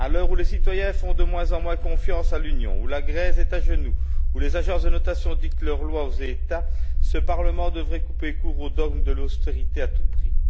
À l'heure où les citoyens font de moins en moins confiance à l'Union, où la Grèce est à genoux, où les agences de notation dictent leur loi aux États, ce Parlement devrait couper court au dogme de l'austérité à tout prix.